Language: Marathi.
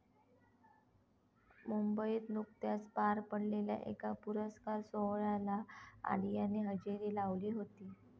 मुंबईत नुकत्याच पार पडलेल्या एका पुरस्कार सोहळ्याला आलियाने हजेरी लावली होती.